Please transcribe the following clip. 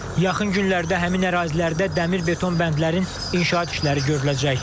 Yaxın günlərdə həmin ərazilərdə dəmir beton bəndlərin inşaat işləri görüləcək.